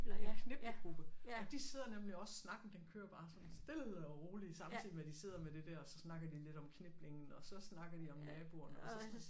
En kniplegruppe og de sidder nemlig også snakken den kører bare sådan stille og roligt samtidig med de sidder med det der og så snakker de lidt om kniplingen og så snakker de om naboerne og så